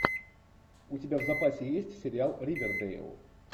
у тебя в запасе есть сериал ривердейл